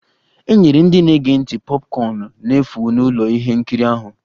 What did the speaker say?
E nyere ndị na-ege ntị popcorn n'efu n'ụlọ ihe nkiri ahụ